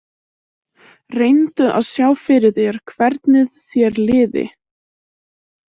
Reyndu að sjá fyrir þér hvernið þér liði.